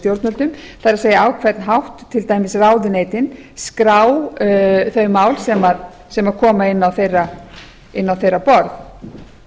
stjórnvöldum það er á hvern hátt til dæmis ráðuneytin skrá þau mál sem koma inn